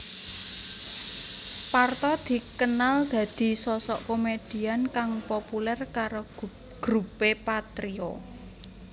Parto dikenal dadi sosok komedian kang populer karo grupé Patrio